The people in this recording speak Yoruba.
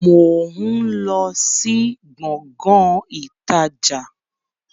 Mo ń lọ sí Gbọ̀ngán ìtajà